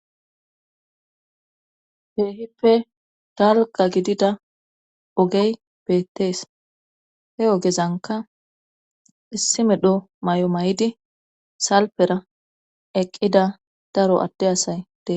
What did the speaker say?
Keehippe dalgga gidida ogey beettees he ogezankka issi medhdho may'o may'idi salpera eqqida daro adde asay dees